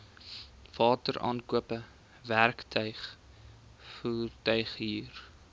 wateraankope werktuig voertuighuur